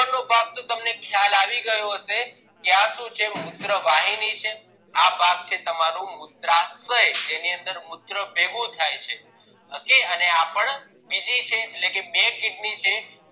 આગળ નો ભાગ તો તમને ખ્યાલ આવી ગયો હશે કે આ શું છે મુત્રવાહિની છે આ ભાગ છે તમારો મૂત્રાશય જેની અંદર મુત્ર ભેગું થાય છે ok આપણ બીજી છે એટલે કે બે kidney છે